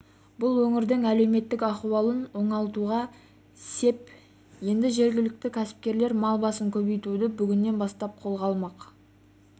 бұл өңірдің әлеуметтік ахуалын оңалтуға сеп енді жергілікті кәсіпкерлер мал басын көбейтуді бүгіннен бастап қолға алмақ